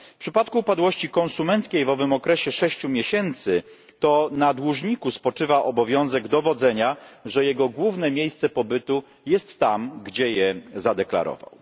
W przypadku upadłości konsumenckiej w owym okresie sześciu miesięcy to na dłużniku spoczywa obowiązek dowodzenia, że jego główne miejsce pobytu jest tam, gdzie je zadeklarował.